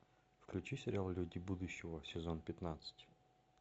включи сериал люди будущего сезон пятнадцать